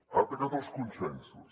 ha atacat els consensos